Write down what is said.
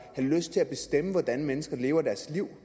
have lyst til at bestemme hvordan mennesker lever deres liv